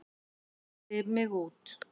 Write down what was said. Mældi mig út.